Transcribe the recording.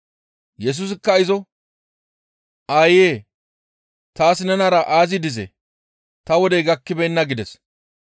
Yesusikka izo, «Aayee! Taas nenara aazi dizee? Ta wodey gakkibeenna» gides.